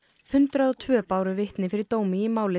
hundrað og tveir báru vitni fyrir dómi í máli